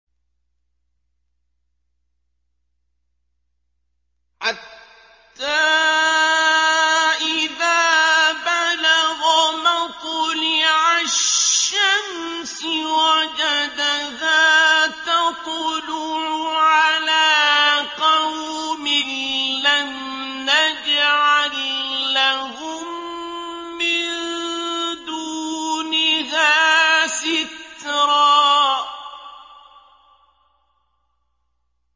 حَتَّىٰ إِذَا بَلَغَ مَطْلِعَ الشَّمْسِ وَجَدَهَا تَطْلُعُ عَلَىٰ قَوْمٍ لَّمْ نَجْعَل لَّهُم مِّن دُونِهَا سِتْرًا